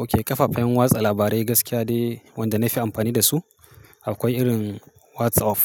Okay kafafen watsa labarai gaskiya de wanda na fi amfani da su. Akwai irin WhatsApp,